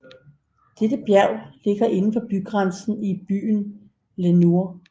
Dette bjerg ligger inden for bygrænsen i byen Lenoir